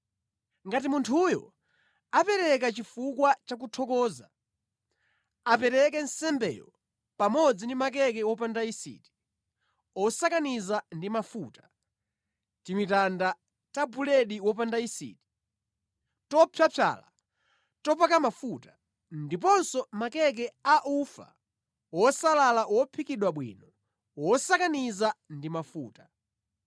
“ ‘Ngati munthuyo apereka chifukwa cha kuthokoza, apereke nsembeyo pamodzi ndi makeke wopanda yisiti, osakaniza ndi mafuta; timitanda ta buledi wopanda yisiti, topyapyala, topaka mafuta, ndiponso makeke a ufa wosalala wophikidwa bwino, wosakaniza ndi mafuta.